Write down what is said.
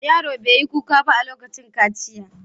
Yaron bai yi kuka ba a lokacin kaciya.